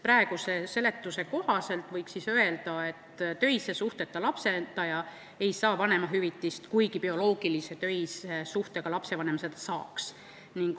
Praeguse seletuse kohaselt võiks öelda, et töise suhteta lapsendaja ei saa vanemahüvitist, kuigi töise suhteta bioloogiline lapsevanem seda saaks.